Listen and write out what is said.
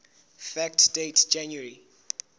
fact date january